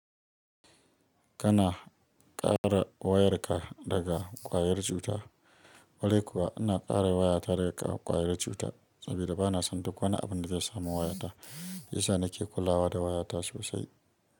Kana ƙara wayarka daga ƙwayar cuta. Kwarai kuwa ina ƙare waya ta daga ƙwayar cuta saboda bana son duk wani abin da zai samu wayata. Shiyasa nake kulawa da wayata sosai.